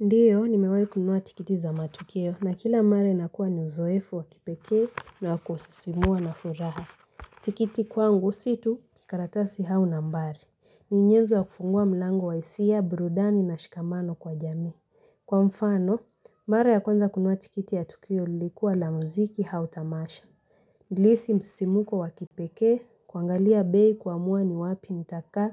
Ndiyo, nimewai kununua tikiti za matukio na kila mara nakuwa na uzoefu wakipekee na wakususimua na furaha. Tikiti kwangu situ, kikaratasi au nambari. Ni nyenzo ya kufungua mlango wa isia, burudani na shikamano kwa jamii. Kwa mfano, mara ya kwanza kununua tikiti ya tukio ilikuwa la muziki au tamasha. Nilihisi msisimuko wakipekee, kuangalia bei kuamua ni wapi nitakaa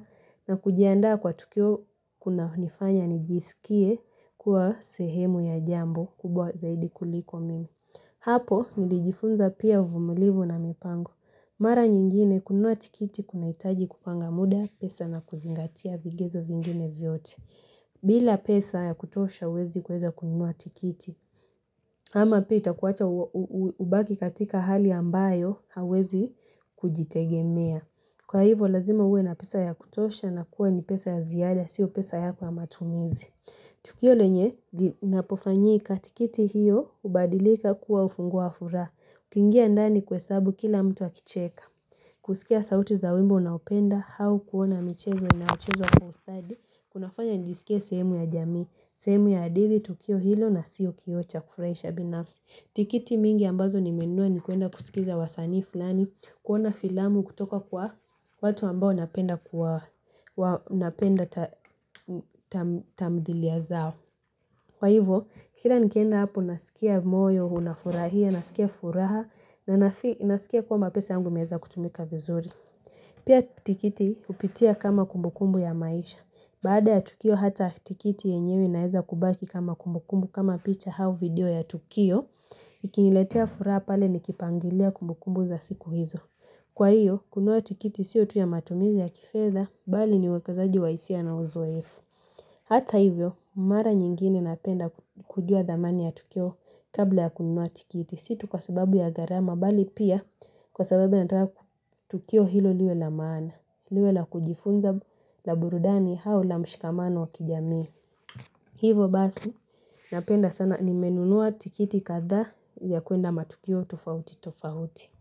na kujiandaa kwa tukio kuna nifanya nijisikie kuwa sehemu ya jambo kubwa zaidi kuliko mimi. Hapo, nilijifunza pia uvumulivu na mipango. Mara nyingine, kununua tikiti kuna itaji kupanga muda pesa na kuzingatia vigezo vingine vyote. Bila pesa ya kutosha huwezi kuweza kununua tikiti. Ama pia itakuwacha ubaki katika hali ambayo hauwezi kujitegemea. Kwa hivo lazima uwe na pesa ya kutosha na kuwa ni pesa ya ziada, sio pesa yako ya matumizi. Tukio lenye, napofanyika tikiti hiyo, ubadilika kuwa ufunguo wa furaha. Ukiingia ndani kuhesabu kila mtu akicheka. Kusikia sauti za wimbo unaopenda, au kuona michezo na inaochezwa kwa ustadi, Kunafanya nijisikie sehemu ya jamii, sehemu ya hadithi, tukio hilo na sio kioo cha kufurahisha binafsi. Tikiti mingi ambazo nimenunua nikuenda kusikiza wasanii fulani, kuona filamu kutoka kwa watu ambao napenda tamdhilia zao. Kwa hivo, kila nikienda hapo nasikia moyo, unafurahia, nasikia furaha, na nasikia kwamba pesa yangu imeweza kutumika vizuri. Pia tikiti upitia kama kumbukumbu ya maisha, baada ya tukio hata tikiti yenyewe inaeza kubaki kama kumbukumbu kama picha hau video ya tukio, ikiniletia furaha pale nikipangilia kumbukumbu za siku hizo. Kwa hiyo, kunua tikiti sio tu ya matumizi ya kifedha, bali ni uekazaji wa isia na uzoefu. Hata hivyo, mara nyingine napenda kujua dhamani ya tukio kabla ya kununua tikiti, sio tu kwa sababu ya gharama, bali pia kwa sababu ya nataka tukio hilo liwe la maana, liwe la kujifunza la burudani au la mshikamano wa kijamii. Hivo basi, napenda sana nimenunua tikiti kathaa ya kuenda matukio tofauti tofauti.